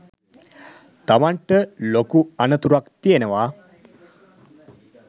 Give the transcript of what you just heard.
තමන්ට ලොකු අනතුරක් තියෙනවා.